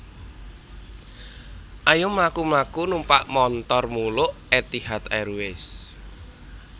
Ayo mlaku mlaku numpak montor muluk Etihad Airways